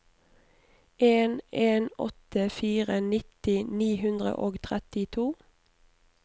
en en åtte fire nitti ni hundre og trettito